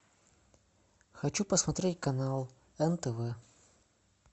хочу посмотреть канал нтв